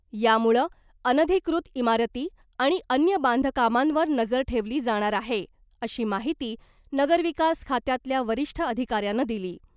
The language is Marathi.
यामुळं अनधिकृत इमारती आणि अन्य बांधकामांवर नजर ठेवली जाणार आहे , अशी माहिती नगरविकास खात्यातल्या वरिष्ठ अधिकाऱ्यानं दिली .